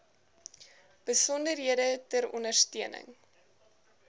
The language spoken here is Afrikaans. besonderhede ter ondersteuning